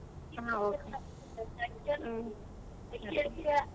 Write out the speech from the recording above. ಹಾ okay .